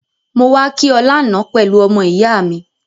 Mo wa ki o lánan pelu ọmọ-ìyá mi